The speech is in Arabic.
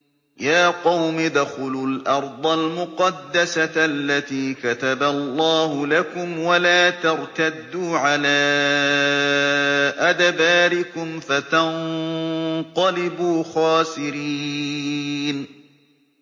يَا قَوْمِ ادْخُلُوا الْأَرْضَ الْمُقَدَّسَةَ الَّتِي كَتَبَ اللَّهُ لَكُمْ وَلَا تَرْتَدُّوا عَلَىٰ أَدْبَارِكُمْ فَتَنقَلِبُوا خَاسِرِينَ